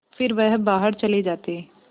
फिर वह बाहर चले जाते